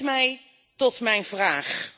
Dat brengt mij tot mijn vraag.